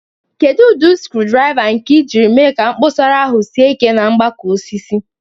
Kedu ụdị screwdriver nke ị jiri mee ka kposara ahụ sie ike na mgbakọ osisi?